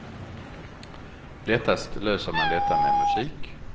Lättast löser man detta med musik.